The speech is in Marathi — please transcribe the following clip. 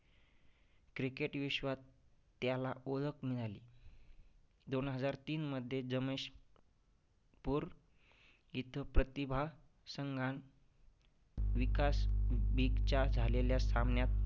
Cricket विश्वात त्याला ओळख मिळाली. दोन हजार तीनमध्ये जमेशपूर इथं प्रतिभा संघां विकास week च्या झालेल्या सामन्यात